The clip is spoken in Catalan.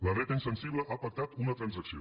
la dreta insensible ha pactat una transacció